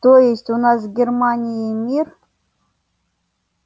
то есть у нас с германией мир